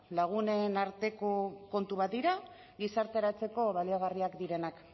lagunen arteko kontu bat dira gizarteratzeko baliagarriak direnak